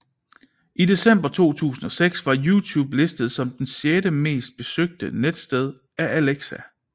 I december 2006 var YouTube listet som det sjette mest besøgte netsted af Alexa